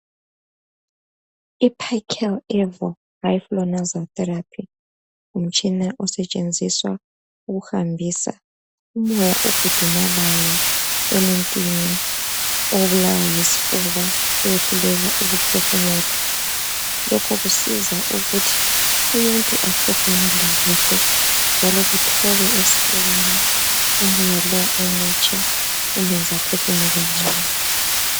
Iphakiya therapy ngumtshina osebenziswayo ukuhambisa umoya ogudumalayo emuntwini obulawa yisifuba owehluleka ukuphefumula lokhokusiza ukuthi umuntu aphefumule kuhle njalo kuthobe esifubeni ,umoyalo omutsha umeza aphefumule kuhle.